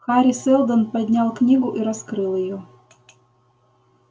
хари сэлдон поднял книгу и раскрыл её